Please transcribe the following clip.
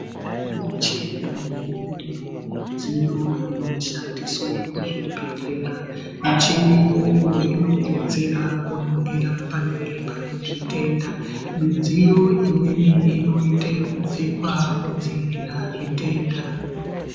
Kune micheni neimweniwo midziyo inoshandiswe kuzvibhedhlera. Michini iyoyo inodetsera kuningira panenge pane zvitenda. Midziyo imweni inoite yekupfekwa kudzivirira zvitenda.